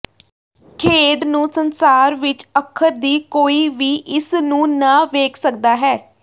ਖੇਡ ਨੂੰ ਸੰਸਾਰ ਵਿੱਚ ਅੱਖਰ ਦੀ ਕੋਈ ਵੀ ਇਸ ਨੂੰ ਨਾ ਵੇਖ ਸਕਦਾ ਹੈ